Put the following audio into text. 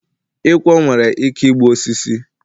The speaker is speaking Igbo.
ịkwọ nwere ike igbu osisi